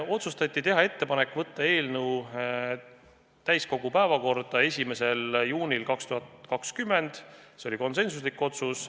Otsustati teha ettepanek võtta eelnõu täiskogu päevakorda 1. juunil 2020, see oli konsensuslik otsus.